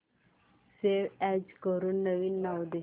save as करून नवीन नाव दे